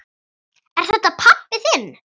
Er þetta pabbi þinn?